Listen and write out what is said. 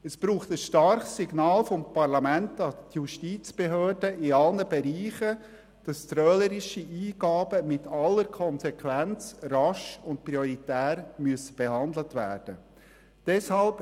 Es braucht in allen Bereichen ein starkes Signal vom Parlament an die Justizbehörde, wonach trölerische Eingaben mit aller Konsequenz rasch und prioritär behandelt werden müssen.